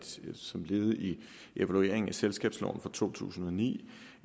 som et led i evalueringen af selskabsloven fra to tusind og ni